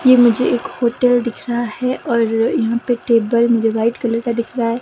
ये मुझे एक होटल दिख रहा हैऔर यहाँ पे टेबल मुझे वाइट कलर का दिख रहा है।